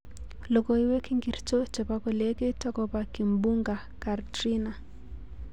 Logoiwek ingircho chebo kolekit akobo Kimbunga Katrina